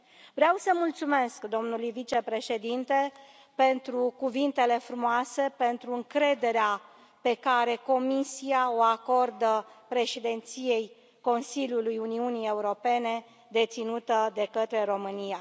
Vreau să îi mulțumesc domnului vicepreședinte pentru cuvintele frumoase, pentru încrederea pe care Comisia o acordă Președinției Consiliului Uniunii Europene deținute de către România.